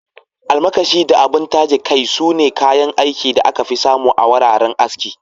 Almakashi da abun taje kai, sune kayan aikin da aka fi samu a wuraren aski.